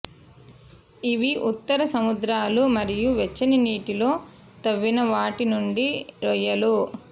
ఇవి ఉత్తర సముద్రాలు మరియు వెచ్చని నీటిలో తవ్విన వాటి నుండి రొయ్యలు